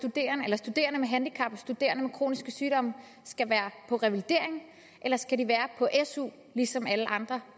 at studerende med handicap studerende med kroniske sygdomme skal være på revalidering eller skal de være på su ligesom alle andre